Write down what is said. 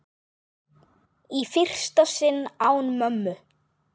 Í fyrsta sinn án mömmu.